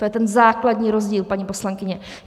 To je ten základní rozdíl, paní poslankyně.